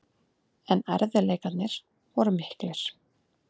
En erfiðleikarnir voru miklir.